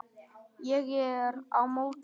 Ég er á móti þeim.